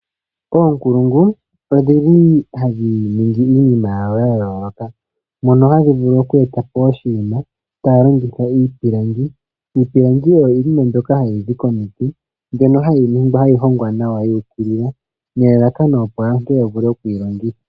Oonkulungu odhili hadhi ningi iinima yawo ya yooloka mono hadhi vulu okweeta po oshinima taaya longitha iipilangi. Iipilangi oyo yimwe mbyoka hayi zi komiti mbyono hayi hongwa nawa yu ukilila nelalakano opo aantu ya vule okuyi longitha.